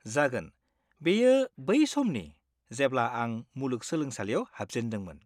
जागोन, बेयो बै समनि जेब्ला आं मुलुग सोलोंसालियाव हाबजेनदोंमोन।